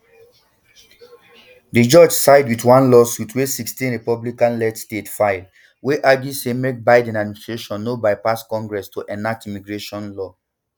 di judge side wit one lawsuit wey sixteen republicanled states file wey argue say make biden administration no bypass congress to enact immigration legislation